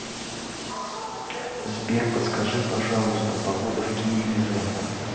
сбер подскажи пожалуйста погода в киеве завтра